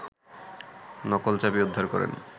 নকল চাবি উদ্ধার করেন